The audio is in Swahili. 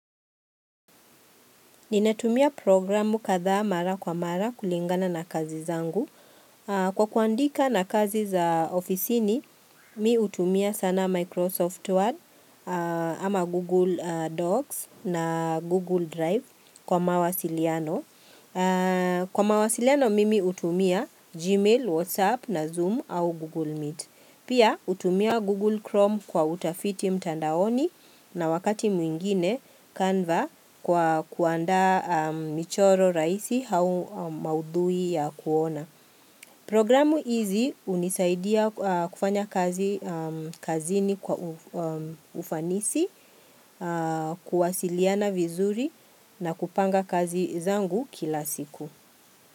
Ninatumia programu kadhaa mara kwa mara kulingana na kazi zangu. Kwa kuandika na kazi za ofisini, mi utumia sana Microsoft Word ama Google Docs na Google Drive kwa mawasiliano. Kwa mawasiliano mimi utumia Gmail, WhatsApp na Zoom au Google Meet Pia utumia Google Chrome kwa utafiti mtandaoni na wakati mwingine Canva kwa kuanda michoro raisi hau maudhui ya kuona Programu hizi unisaidia kufanya kazi kazini kwa ufanisi, kuwasiliana vizuri na kupanga kazi zangu kila siku.